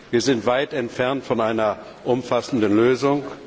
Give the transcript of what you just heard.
Wir sind weit entfernt von einer umfassenden Lösung.